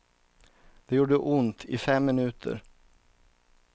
Det gjorde ont i fem minuter.